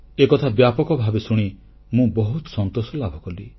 ଏକଥା ବ୍ୟାପକ ଭାବେ ଶୁଣି ମୁଁ ବହୁତ ସନ୍ତୋଷ ଲାଭ କଲି